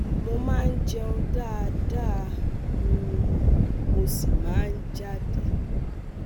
Mo máa ń jẹun dáadáa um mo sì máa ń jáde